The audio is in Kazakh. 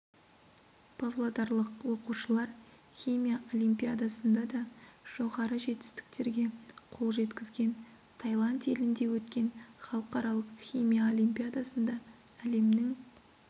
павлодарлық оқушылар химия олимпиадасында да жоғары жетістіктерге қол жеткізген тайланд елінде өткен халықаралық химия олимпиадасында әлемнің